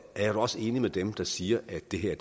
da også enig med dem der siger at det her